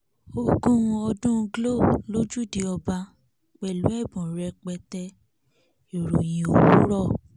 ogún ọdún glo lójúde ọba pẹ̀lú ẹ̀bùn rẹpẹtẹ ìròyìn òwúrọ̀